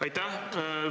Aitäh!